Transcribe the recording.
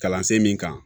Kalansen min kan